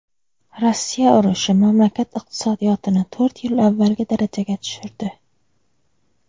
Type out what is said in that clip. Rossiya urushi mamlakat iqtisodiyotini to‘rt yil avvalgi darajaga tushirdi.